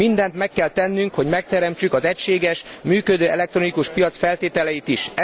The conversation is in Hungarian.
Mindent meg kell tennünk, hogy megteremtsük az egységes, működő elektronikus piac feltételeit is.